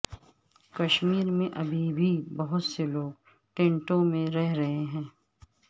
کشمیر میں ابھی بھی بہت سے لوگ ٹینٹوں میں رہ رہے ہیں